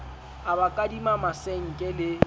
a ba kadima masenke le